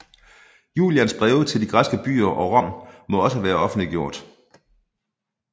Julians breve til de græske byer og Rom må også være offentliggjort